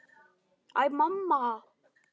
Æ, mamma!